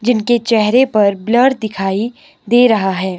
जिनके चेहरे पर ब्लर दिखाई दे रहा है।